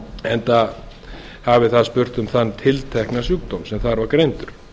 enda hafi það spurt um þann tiltekna sjúkdóm sem þar var greindur